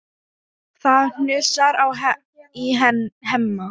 Það hnussar í Hemma.